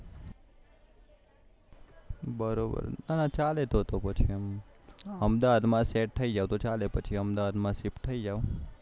બરોબર હા ચાલે તો તો પછી એમ અહમદાવામાં સેટ થઇ જાઓ તો ચાલે પછી અહમદાવાદ શિફ્ટ થઇ જાઓ